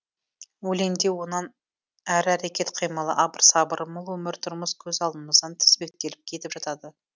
өлеңде онан әрі әрекет қимылы абыр сабыры мол өмір тұрмыс көз алдымыздан тізбектеліп кетіп жатады